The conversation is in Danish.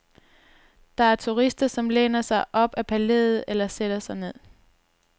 Der er turister, som læner sig op ad palæet eller sætter sig ned.